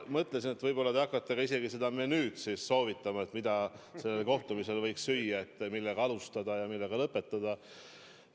Ma mõtlesin, et võib-olla te hakkate isegi menüüd soovitama, mida sellel kohtumisel võiks süüa, millega alustada ja millega lõpetada.